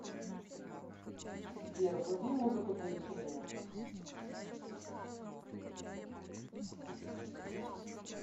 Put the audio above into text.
сбер вруби музыку для вечеринок